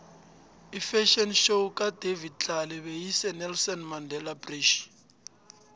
ifafhion show kadavid tlale beyise nelson mandele bridge